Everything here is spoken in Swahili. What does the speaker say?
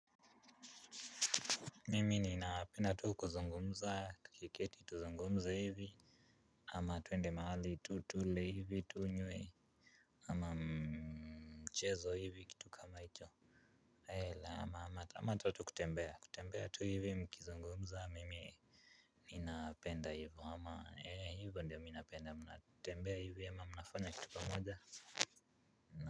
Mimi ninapenda tu kuzungumza tukiketi tuzungumze hivi. Ama tuende mahali tu tule hivi tunywe. Ama mchezo hivi kitu kama hicho. Hela ama tu kutembea kutembea tu hivi mkizungumza mimi ninapenda hivyo ama hivyo ndiyo mimi napenda tembea hivi ama mnafanya kitu pamoja.